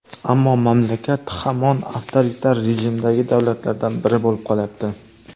Ammo mamlakat hamon avtoritar rejimdagi davlatlardan biri bo‘lib qolyapti.